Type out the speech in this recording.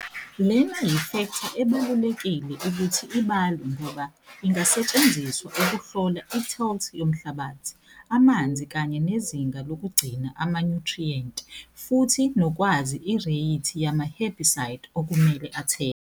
Lena yifektha ebalulekile ukuthi ibalwe ngoba ingasetshenziswa ukuhlola itilth yomhlabathi, amanzi kanye nezinga lokugcina amanyuthriyenti, futhi nokwazi ireyithi yamaherbicide okumele athelwe.